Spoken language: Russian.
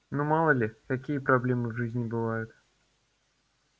ну мало ли какие проблемы в жизни бывают